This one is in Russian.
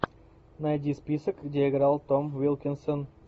найди список где играл том уилкинсон